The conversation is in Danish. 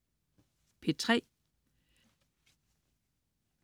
P3: